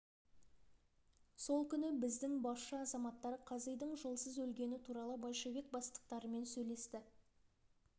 сол күні біздің басшы азаматтар қазидың жолсыз өлгені туралы большевик бастықтарымен сөйлесті